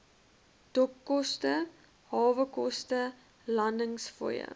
dokkoste hawekoste landingsfooie